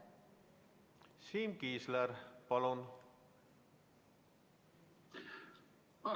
Siim Kiisler, palun!